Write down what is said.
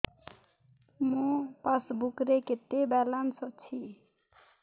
ମୋ ପାସବୁକ୍ ରେ କେତେ ବାଲାନ୍ସ କୁହନ୍ତୁ